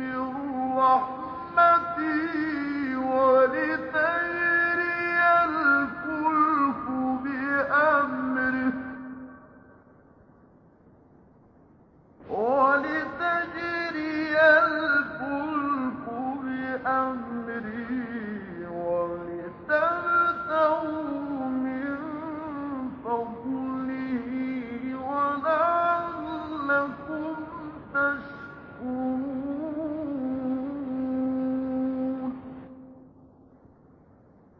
مِّن رَّحْمَتِهِ وَلِتَجْرِيَ الْفُلْكُ بِأَمْرِهِ وَلِتَبْتَغُوا مِن فَضْلِهِ وَلَعَلَّكُمْ تَشْكُرُونَ